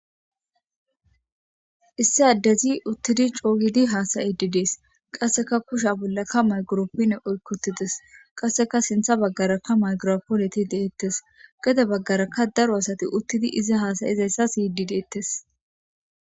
Issi addezi uttidi cooygidi haasayidi dees qasseka kusha bollakka mayguroppin oykkutides qasseka sintha baggarakka maygiropoleti deettes gede baggaraka daro asati uttidi iza haasayizayssa siydi deettes.